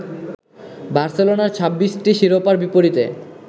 বার্সেলোনার ২৬টি শিরোপার বিপরীতে